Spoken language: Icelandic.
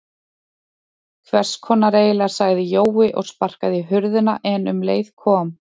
Hvess konar eiginlega sagði Jói og sparkaði í hurðina en um leið kom